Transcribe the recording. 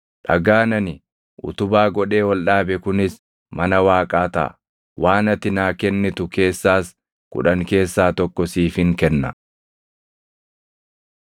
dhagaan ani utubaa godhee ol dhaabe kunis mana Waaqaa taʼa; waan ati naa kennitu keessaas kudhan keessaa tokko siifin kenna.”